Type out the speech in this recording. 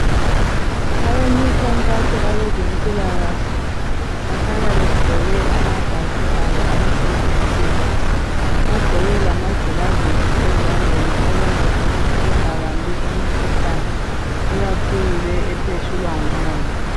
Abemikhankaso abezempilakahle bahlala begqoke amabhatshi abo amhlophe nke, bagqoke lamagilavizi ezandleni okwenza ukuthi bengabambi imikhuhlane ikakhulu le ephetshulwa ngumoya.